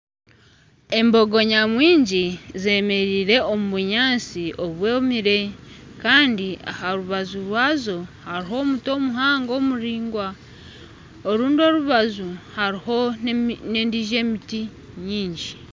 Embogo nyamwingi zemereire omu bunyantsi obwomire Kandi aha rubaju rwazo hariho omuti omuhango omuraingwa . Orundi orubaju hariho na endijo emiti nyingi.